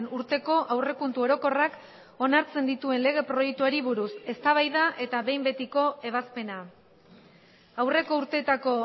urteko aurrekontu orokorrak onartzen dituen lege proiektuari buruz eztabaida eta behin betiko ebazpena aurreko urteetako